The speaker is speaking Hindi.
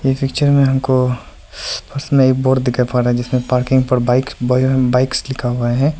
ये पिक्चर में हमको उसमें एक बोर्ड दिखाई पड़ रहा है जिसमें पार्किंग पर बाइक्स बाइक्स लिखा हुआ है।